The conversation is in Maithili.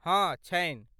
हँ, छनि।